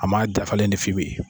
A ma dafalen de f'i ye.